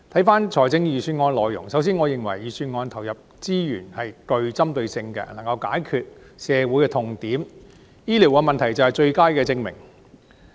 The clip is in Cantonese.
關於預算案的內容，首先，我認為預算案投放資源是對症下藥的，醫療問題便是最佳證明。